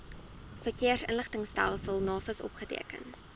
verkeersinligtingstelsel navis opgeteken